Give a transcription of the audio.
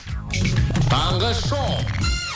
таңғы шоу